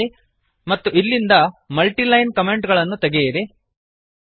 ಇಲ್ಲಿ ಮತ್ತು ಇಲ್ಲಿಂದ ಮಲ್ಟಿಲೈನ್ ಕಮೆಂಟ್ ಅನ್ನು ತೆಗೆಯಿರಿ